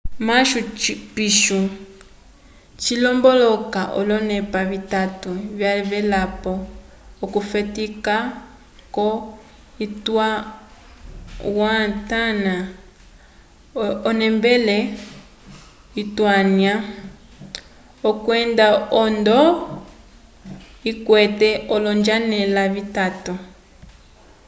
machu pichu cilomboloka olonepa vitatu vyavelapo okufetika kwo-intiahuatana onembele yutanya kwenda ohondo ikwete olonjanela vitatu